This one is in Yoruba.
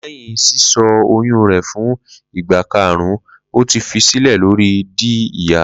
Lẹhin sisọ oyun rẹ fun igba karun o ti fi silẹ lori di iya